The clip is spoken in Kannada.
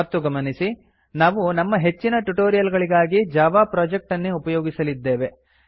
ಮತ್ತು ಗಮನಿಸಿ ನಾವು ನಮ್ಮ ಹೆಚ್ಚಿನ ಟ್ಯುಟೋರಿಯಲ್ ಗಳಿಗಾಗಿ ಜಾವಾ ಪ್ರೊಜೆಕ್ಟ್ ಅನ್ನೇ ಉಪಯೋಗಿಸಲಿದ್ದೇವೆ